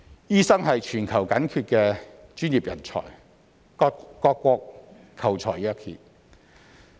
醫生是全球緊缺的專業人才，各國求才若渴。